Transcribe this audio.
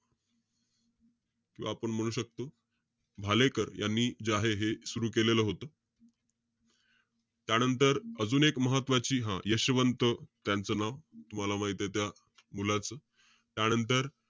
किंवा आपण म्हणू शकतो, भालेकर यांनी जे आहे सुरु केलेलं होतं. त्यानंतर, अजून एक महत्वाची हं, यशवंत त्यांचं नाव. तुम्हाला माहितीये त्या मुलाचं. त्यानंतर,